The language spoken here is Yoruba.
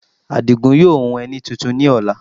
Àdìgún yóò hun ẹní tuntun ní ọ̀la